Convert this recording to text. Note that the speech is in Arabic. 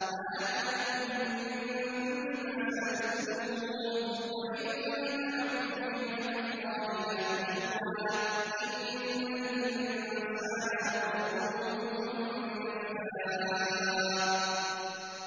وَآتَاكُم مِّن كُلِّ مَا سَأَلْتُمُوهُ ۚ وَإِن تَعُدُّوا نِعْمَتَ اللَّهِ لَا تُحْصُوهَا ۗ إِنَّ الْإِنسَانَ لَظَلُومٌ كَفَّارٌ